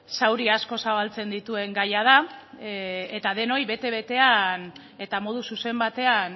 zauri asko zabaltzen dituen gaia da eta denoi bete betean eta modu zuzen batean